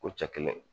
Ko cɛ kelen